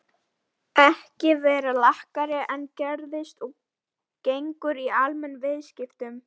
ekki vera lakari en gerist og gengur í almennum viðskiptum.